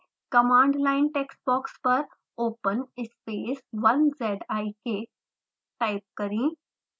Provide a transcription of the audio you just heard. command line text box पर open space 1zik type करें